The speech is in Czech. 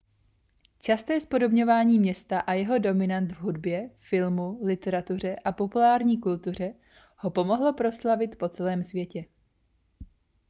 časté zpodobňování města a jeho dominant v hudbě filmu literatuře a populární kultuře ho pomohlo proslavit po celém světě